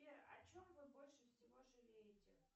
сбер о чем вы больше всего жалеете